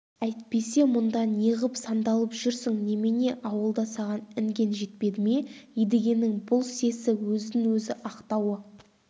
әйтпесе мұнда неғып сандалып жүрсің немене ауылда саған інген жетпеді ме едігенің бұл сесі өзін-өзі ақтауы